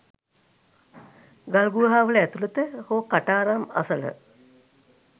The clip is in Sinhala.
ගල් ගුහාවල ඇතුළත හෝ කටාරම් අසල